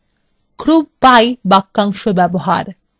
group by বাক্যাংশ ব্যবহার